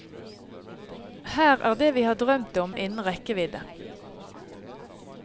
Her er det vi har drømt om innen rekkevidde.